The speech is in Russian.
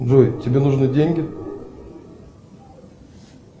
джой тебе нужны деньги